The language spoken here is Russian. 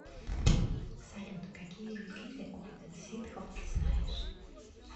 салют какие виды орден ситхов ты знаешь